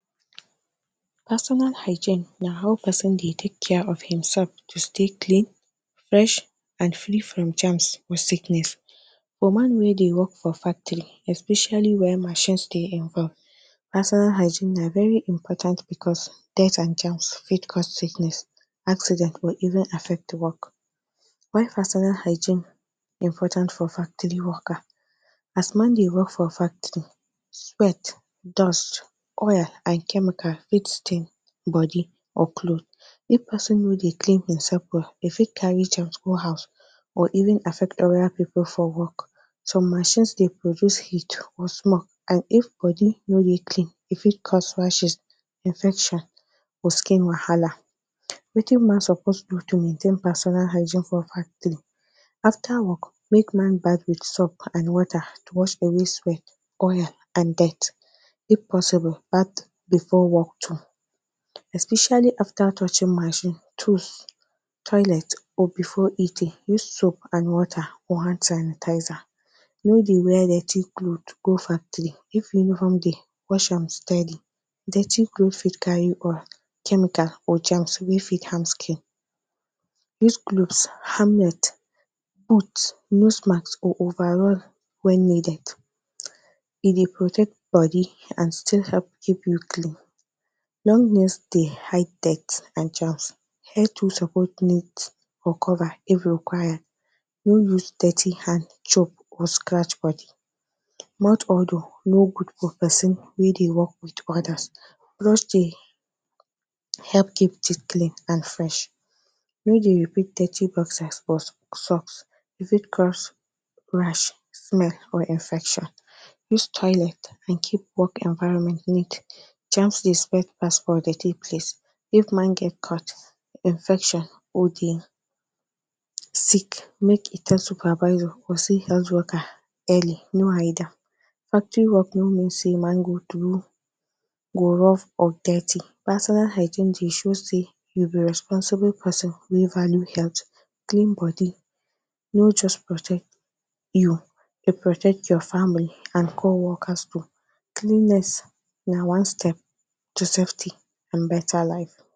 Personal hygiene na how person dey take care of himself to stay clean, fresh and free from germs with sickness. For man wey dey work factory especially when machines dey involved, personal hygiene na very important because dirts and germs fit cause sickness, accident or even affect the work. Why personal hygiene important for factory worker, as man dey work for factory sweat, dust, oil and chemical fit stain body or cloth. If person no dey clean himself well e fit carry germs go house or even affect other people for work some machine dey produce heat or smoke and if body no dey clean e fit cause rashes infection or skin wahala wetin man suppose do to maintain personal hygiene for factory after work make man bathe with soap and water wash away sweat oil and dirt. If possible bathe before work too, especially after touching machine tools toilet or before eating, use soap and water or hand sanitizer, no they wear dirty clothe go factory, if uniform dey wash am steady, dirty clothe fit carry oil, chemical or germs wey fit harm skin use glooves, helmet, boot, nose mask or overall when needed, e they protect body and still help keep you clean. Long nails dey hide dirts and germs support it or cover if require, no use dirty hand chop or scratch body, mouth odour no good for person wey they work with others mostly help keep teeth clean and fresh. No they repeat dirty boxers or socks e fit cause rash smell or infection, use toilet and keep work environment neat. Germ dey spread pass for dirty place, if man get infection or dey sick, make e tell supervisor to see health worker early no hide am. Factory work no mean say man do go rub of dirty. personal hygiene go show say you be responsible person wey value health, clean body no just protect you e protect your family and co workers too cleanliness na one step to safety and better life.